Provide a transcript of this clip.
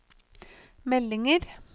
meldinger